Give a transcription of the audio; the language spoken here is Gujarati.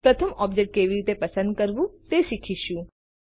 પ્રથમ ઑબ્જેક્ટ કેવી રીતે પસંદ કરવું તે શીખીશું